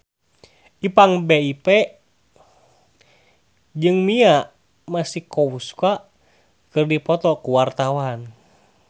Ipank BIP jeung Mia Masikowska keur dipoto ku wartawan